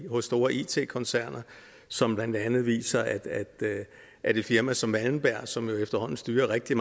hos store it koncerner som blandt andet viser at at et firma som malmberg som jo efterhånden styrer rigtig